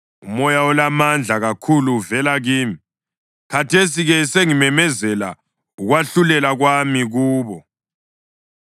umoya olamandla kakhulu uvela kimi. Khathesi-ke sengimemezela ukwahlulela kwami kubo.”